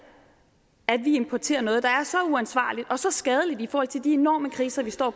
at vi importerer noget der er så uansvarligt og så skadeligt i forhold til de enorme kriser vi står